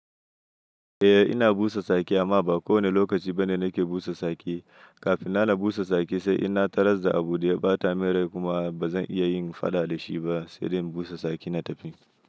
Eh ina busa saki amma ba kowane lokaci bane nake busa saki. Kafin na na busa saki sai in na tarar da abu da ya ɓata min rai kuma ba zan iya yin faɗa da shi ba sai dai in busa saki na tafi.